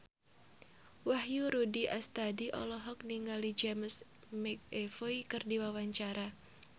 Wahyu Rudi Astadi olohok ningali James McAvoy keur diwawancara